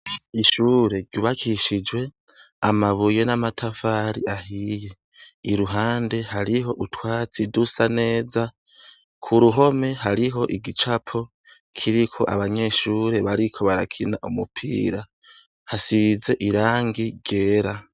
Ishure ryubakishijwe amabuye n'amatafari ahiye. Iruhande hariho utwatsi dusa neza k'uruhome hariho igicapo ,kiriko abanyeshure bariko barakina umupira hasize irangi ryera.